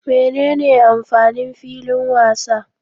Menene amfanin filin wasa?